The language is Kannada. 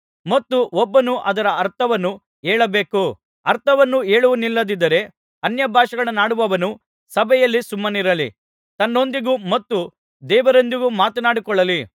ಮತ್ತು ಒಬ್ಬನು ಅದರ ಅರ್ಥವನ್ನು ಹೇಳಬೇಕು ಅರ್ಥವನ್ನು ಹೇಳುವವನಿಲ್ಲದಿದ್ದರೆ ಅನ್ಯಭಾಷೆಗಳನ್ನಾಡುವವನು ಸಭೆಯಲ್ಲಿ ಸುಮ್ಮನಿರಲಿ ತನ್ನೊಂದಿಗೂ ಮತ್ತು ದೇವರೊಂದಿಗೂ ಮಾತನಾಡಿಕೊಳ್ಳಲಿ